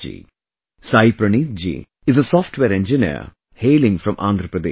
Saayee Praneeth ji is a Software Engineer, hailing from Andhra Paradesh